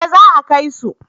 Eh za a kai su